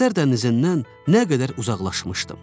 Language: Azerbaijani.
Xəzər dənizindən nə qədər uzaqlaşmışdım.